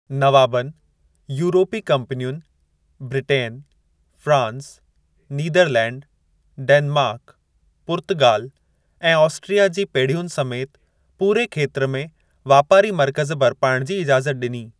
नवाबनि, यूरोपी कंपनियुनि Britain, France, Netherlands, Denmark, पुर्तगाल ऐं ऑस्ट्रिया जी पेढियुनि समेत पूरे खेत्र में वापारी मर्कज़ बर्पाइण जी इजाज़त ॾिनी।